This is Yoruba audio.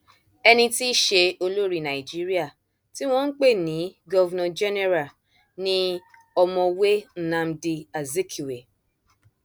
ẹni tí í ṣe olórí nàìjíríà tí wọn ń pè ní governor general ni ọmọwé nnamdi azikiwe